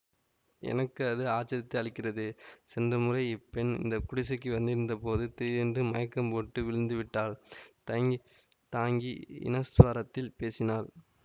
எனக்கு அது ஆச்சரியத்தை அளிக்கிறது சென்ற முறை இப்பெண் இந்த குடிசைக்கு வந்திருந்த போது திடீரென்று மயக்கம் போட்டு விழுந்து விட்டாள் தயங்கித் தாங்கி ஈனஸ்வரத்தில் பேசினாள்